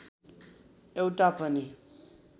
एउटा पनि